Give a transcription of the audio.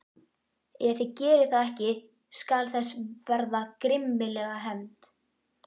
Ef þið gerið það ekki skal þess verða grimmilega hefnt.